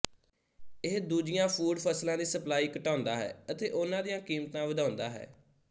ਇਹ ਦੂਜੀਆਂ ਫੂਡ ਫਸਲਾਂ ਦੀ ਸਪਲਾਈ ਘਟਾਉਂਦਾ ਹੈ ਅਤੇ ਉਨ੍ਹਾਂ ਦੀਆਂ ਕੀਮਤਾਂ ਵਧਾਉਂਦਾ ਹੈ